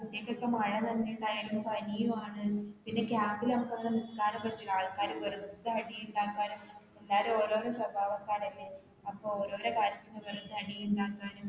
എന്നിട്ട് ഇപ്പോൾ മഴ നനഞ്ഞിട്ടുണ്ടായിരുന്നു പനിയും ആണ്. പിന്നെ camp ൽ ഒക്കെ നിൽക്കാനും പറ്റുകേല ആള്ക്കാര് കേറി വെറുതെ അടി ഉണ്ടാകാനും എല്ലോരും ഓരോരോ സ്വഭാവക്കാരല്ലേ അപ്പൊ ഓരോരോ കാര്യത്തിന് വെറുതെ അടി ഉണ്ടാകാനും.